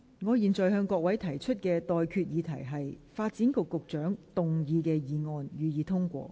我現在向各位提出的待決議題是：發展局局長動議的議案，予以通過。